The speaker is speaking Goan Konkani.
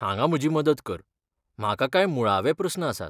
हांगा म्हजी मदत कर, म्हाका कांय मुळावे प्रस्न आसात.